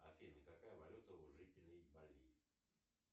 афина какая валюта у жителей бали